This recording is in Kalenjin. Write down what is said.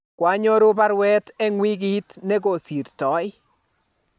kwanyoru baruet eng wikit ne kosirtoi